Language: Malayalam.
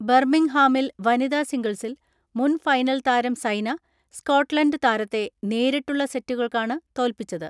ബർമ്മിംഗ്ഹാമിൽ വനിതാ സിംഗിൾസിൽ മുൻഫൈനൽ താരം സൈന സ്കോട്ട്ലന്റ് താരത്തെ നേരിട്ടുള്ള സെറ്റുകൾക്കാണ് തോൽപ്പിച്ചത്.